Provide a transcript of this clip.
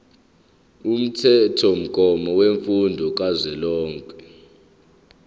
umthethomgomo wemfundo kazwelonke